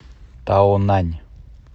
таонань